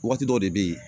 Waati dɔw de bɛ ye